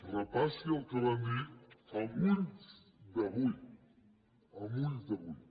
repassi el que van dir amb ulls d’avui amb ulls d’avui